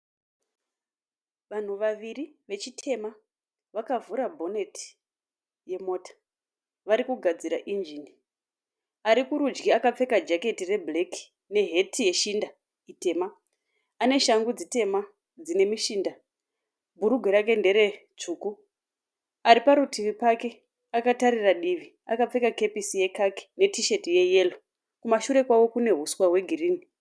Vanhu vaviri vechitema vakavhura bhoneti yemota. Vari kugadzira injini. Ari kurudyi akapfeka jaketi rebhureki neheti yeshinda tema. Ane shangu dzitema dzine mishinda. Bhurugwa rake nderetsvuku. Ari parutivi pake akatarira divi. Akapfeka kepesi yekaki netisheti yeyero. Kumashure kwavo kune huswa hwegirini.